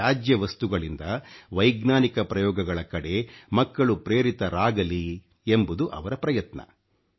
ತ್ಯಾಜ್ಯ ವಸ್ತುಗಳಿಂದ ವೈಜ್ಞಾನಿಕ ಪ್ರಯೋಗಗಳ ಕಡೆ ಮಕ್ಕಳು ಪ್ರೇರಿತರಾಗಲಿ ಎಂಬುದು ಅವರ ಪ್ರಯತ್ನ